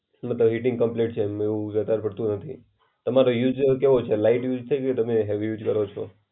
મતલબ heating complete છે, લો વધાર પરંતુ નથી. તમારો યુઝ કેવો છે? લાઈટ યુઝ છે કે તમે હેવી યુઝ કરો છ?